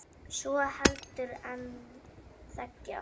svo heldur en þegja